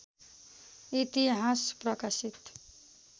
इतिहास प्रकाशित